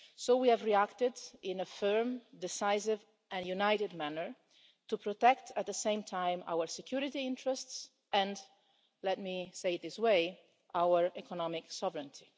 We have reacted in a firm, decisive and united manner to protect at the same time our security interests, and let me say, in this way, our economic sovereignty.